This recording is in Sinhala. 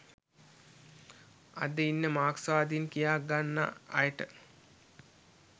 අද ඉන්න මාක්ස්වාදීන් කියාගන්නා අයට